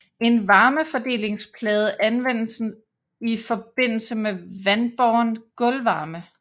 En varmefordelingsplade anvendes i forbindelse med vandbåren gulvvarme